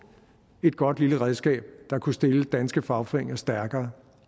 et godt lille redskab der kunne stille danske fagforeninger stærkere